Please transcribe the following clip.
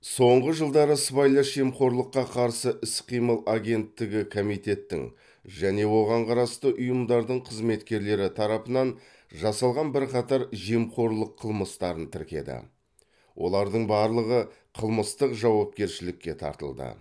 соңғы жылдары сыбайлас жемқорлыққа қарсы іс қимыл агенттігі комитеттің және оған қарасты ұйымдардың қызметкерлері тарапынан жасалған бірқатар жемқорлық қылмыстарын тіркеді олардың барлығы қылмыстық жауапкершілікке тартылды